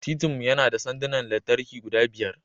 Titin mu yana da sandunan lantarki guda biyar.